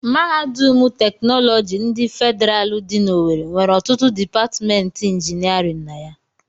Mahadum teknọlọgi ndị Fedịral dị n'owerre nwere ọtụtụ dipatịmentị injinịarịn na ya.